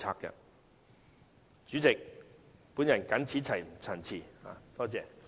代理主席，我謹此陳辭，多謝。